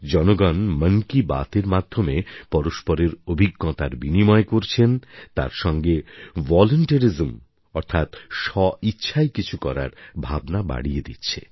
জনগণ মন কি বাতএর মাধ্যমে পরস্পরের অভিজ্ঞতার বিনিময় করছেন তার সঙ্গে ভলান্টেরিজম অর্থাৎ স্বইচ্ছায় কিছু করার ভাবনা বাড়িয়ে দিচ্ছে